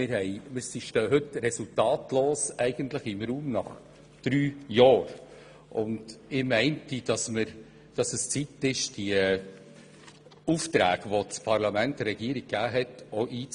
Nach drei Jahren stehen wir eigentlich resultatlos im Raum, und meines Erachtens ist es Zeit, die Aufträge einzufordern, welche das Parlament der Regierung gegeben hat.